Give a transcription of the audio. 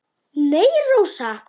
Nei, Rósa.